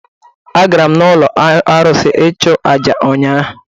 A gara m n’ụlọ arụsị ịchụ àjà ụnyahụ